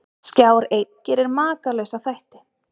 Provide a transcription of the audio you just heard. Skjár einn gerir Makalausa þætti